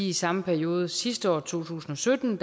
i samme periode sidste år i to tusind og sytten